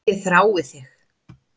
Ég þrái þig.